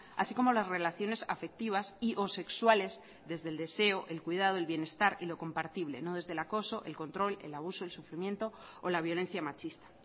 así como las relaciones afectivas y o sexuales desde el deseo el cuidado del bienestar y lo compartible no desde el acoso el control el abuso el sufrimiento o la violencia machista